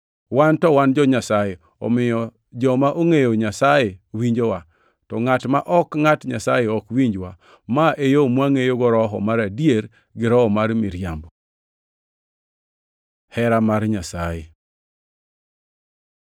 Wan to wan jo-Nyasaye omiyo joma ongʼeyo Nyasaye winjowa, to ngʼat ma ok ngʼat Nyasaye ok winjwa. Ma e yo mwangʼeyogo Roho mar adier gi Roho mar miriambo. Hera mar Nyasaye